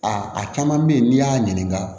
A a caman bɛ yen n'i y'a ɲininka